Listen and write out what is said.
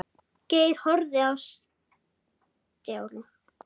Geir horfði á Stjána.